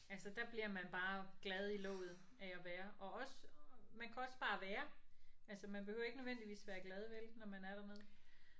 Altså der bliver man bare glad i låget af at være og også man kan også bare være altså man behøver ikke nødvendigvis være glad vel når man er dernede